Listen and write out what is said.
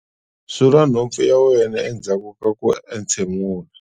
Sula nhompfu ya wena endzhaku ka ku entshemula.